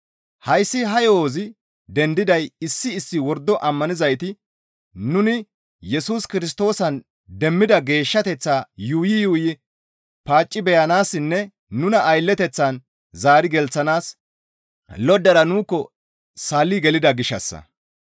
Hayssi ha yo7ozi dendiday issi issi wordo ammanizayti nuni Yesus Kirstoosan demmida geeshshateththaa yuuyi yuuyi paacci beyanaassinne nuna aylleteththan zaari gelththanaas loddara nuukko salli gelida gishshassa.